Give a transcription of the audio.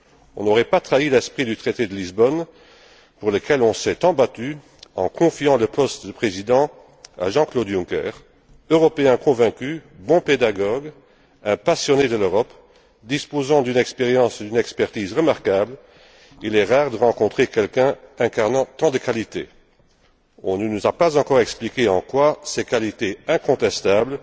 On n'aurait pas trahi l'esprit du traité de Lisbonne, pour lequel on s'est tant battu, en confiant le poste de président à Jean Claude Juncker, Européen convaincu, bon pédagogue, un passionné de l'Europe, disposant d'une expérience et d'une expertise remarquables. Il est rare de rencontrer quelqu'un incarnant tant de qualités. On ne nous a pas encore expliqué en quoi ses qualités incontestables